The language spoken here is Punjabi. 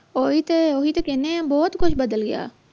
ਉਹ ਤੇ ਓਹੀ ਤੇ ਕਹਿਣੇ ਆ ਬਹੁਤ ਕੁਝ ਬਦਲ ਗਿਆ